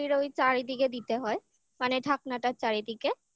হাঁড়ির ওই চারিদিকে দিতে হয় মানে ঢাকনাটার চারিদিকে